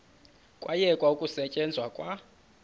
kwayekwa ukusetyenzwa kwa